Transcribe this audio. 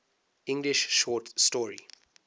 english short story